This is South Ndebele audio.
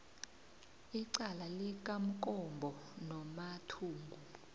icala likamkombo nomathungu